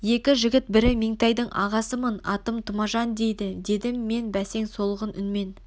екі жігіт бірі меңтайдың ағасымын атым тұмажан дейді дедім мен бәсең солғын үнмен